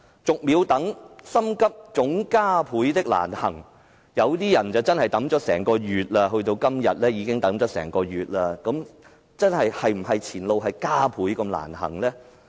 "逐秒等心急總加倍的難行"，有些人真的等了整個月，直至今天已等了整整一個月，前路是否真會加倍難行呢？